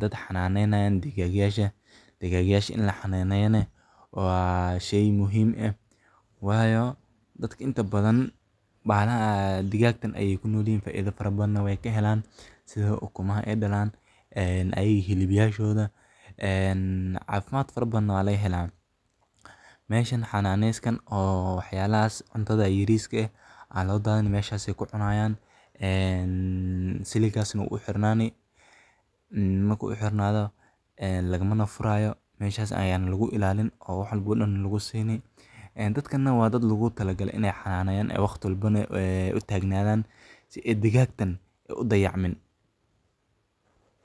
Dadka xanaaneynaya digaagyada, digaagyada in la xanaaneeyo waa shay muhiim ah, waayo dadka inta badan digaagan ayay ku nool yihiin. Faa’iido fara badanna way ka helaan, sida ukunaha ay dhalaan, iyaga hilibkooda. Caafimaad fara badanna waa laga helaa. Meeshaan xanaanada oo cunto yariska ah ayaa loo dajinayaa, meeshaas ayay ku cunayaan. Siliggaasna wuu u xirnaanayaa, mana laga furayo. Meeshaas ayeyna lagu ilaalinayaa oo wax walbana lagu siinayaa. Dadkuna waa dad loo talo galay in ay xanaaneynayaan, oo waqti walbana u tegayaan si aan digaagtan loo dayicin.